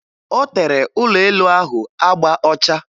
O tere ụlọ elu ahụ agba ọcha